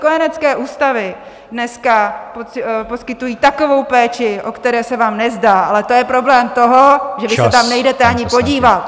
Kojenecké ústavy dneska poskytují takovou péči, o které se vám nezdá, ale to je problém toho, že vy se tam nejdete ani podívat.